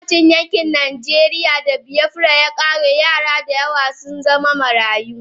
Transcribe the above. Lokacin da yakin najeriya da biyafra yakare yara dayawa sun zama marayu.